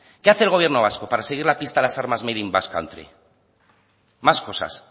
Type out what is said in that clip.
qué hace el gobierno vasco para seguir la pista a las armas made in basque country más cosas